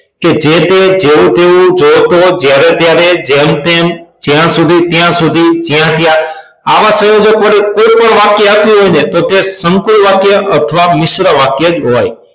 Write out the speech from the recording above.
કે જે તે જેવુ તેવું જો તો જ્યારે ત્યારે જેમ તેમ જયા સુધી ત્યાં સુધી જયા ત્યાં આવા સંયોજક વડે કોઈ પણ વાક્ય આપ્યું હોય ને તો તે સંકૂલ વાક્ય અથવા મિશ્ર વાક્ય હોય